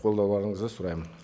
қолдауларыңызды сұраймын